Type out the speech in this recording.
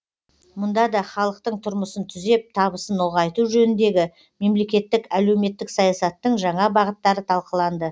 мұнда да халықтың тұрмысын түзеп табысын ұлғайту жөніндегі мемлекеттік әлеуметтік саясаттың жаңа бағыттары талқыланды